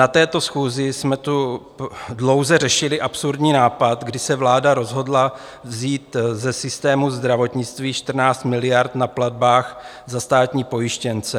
Na této schůzi jsme tu dlouze řešili absurdní nápad, kdy se vláda rozhodla vzít ze systému zdravotnictví 14 miliard na platbách za státní pojištěnce.